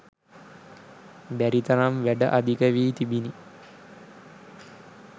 බැරි තරම් වැඩ අධික වී තිබිණි.